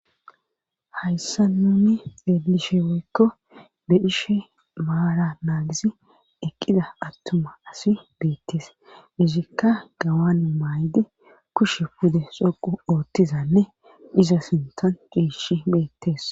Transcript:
hayssa nuni eelishe woykko bedhishe baara naagisi eqqida attuma asi beettis izikka gawan maaydi kushe pude soqu oottizanne iza sintan qiishi beettees